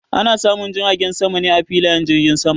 Ana samun jiragen sama ne a filayen jirgin sama.